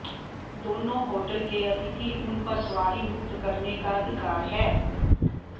दोनों होटल के अतिथि उन पर सवारी मुक्त करने का अधिकार है